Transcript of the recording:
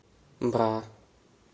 бра